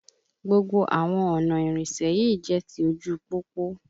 Gbogbo àwọn ọ̀nà ìrìnsẹ̀ yìí jẹ́ ti ojú u pópó